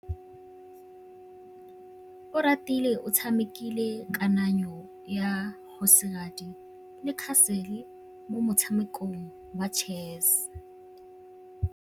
Oratile o tshamekile kananyô ya kgosigadi le khasêlê mo motshamekong wa chess.